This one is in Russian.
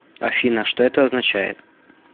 афина что это означает